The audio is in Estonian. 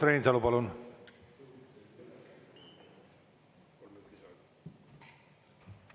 Urmas Reinsalu, palun!